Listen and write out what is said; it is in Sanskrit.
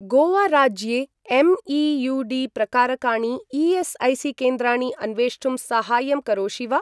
गोवा राज्ये एम्.ई.यू.डी. प्रकारकाणि ई.एस्.ऐ.सी.केन्द्राणि अन्वेष्टुं साहाय्यं करोषि वा?